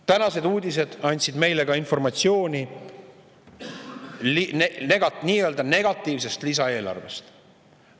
Tänased uudised andsid meile informatsiooni nii-öelda negatiivsest lisaeelarvest.